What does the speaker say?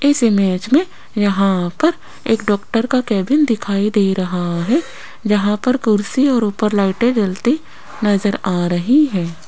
इस इमेज में यहाँ पर एक डॉक्टर का केबिन दिखाई दे रहा है जहाँ पर कुर्सी और ऊपर लाइटें जलती नजर आ रही हैं।